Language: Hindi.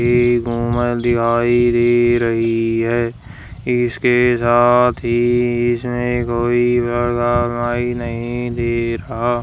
एक मोबाइल दिखाई दे रही है इसके साथ ही इसमें कोई --